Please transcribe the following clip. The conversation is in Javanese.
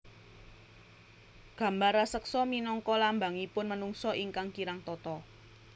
Gambar raseksa minangka lambangipun menungsa ingkang kirang tata